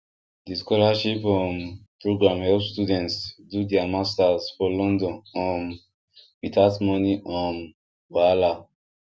the scholarship um program help students do their masters for london um without money um wahala